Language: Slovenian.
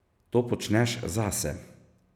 To počneš zase.